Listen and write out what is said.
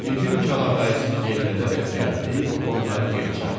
Bibim kalağayısını yellədərək gəldi, onları geri çağırdı.